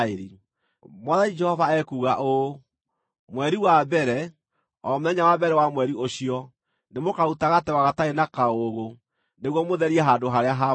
“ ‘Mwathani Jehova ekuuga ũũ: Mweri wa mbere, o mũthenya wa mbere wa mweri ũcio, nĩmũkaruta gategwa gatarĩ na kaũũgũ nĩguo mũtherie handũ-harĩa-haamũre.